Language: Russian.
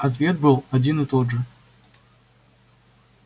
ответ был один и тот же